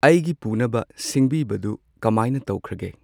ꯑꯩꯒꯤ ꯄꯨꯅꯕ ꯁꯤꯡꯕꯤꯕꯗꯨ ꯀꯃꯥꯏꯅ ꯇꯧꯈ꯭ꯔꯒꯦ?